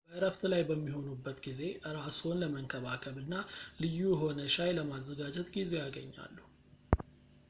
በእረፍት ላይ በሚሆኑበት ጊዜ እራስዎን ለመንከባከብ እና ልዩ የሆነ ሻይ ለማዘጋጀት ጊዜ ያገኛሉ